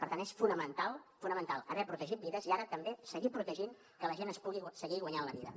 per tant és fonamental fonamental haver protegit vides i ara també seguir protegint que la gent es pugui seguir guanyant la vida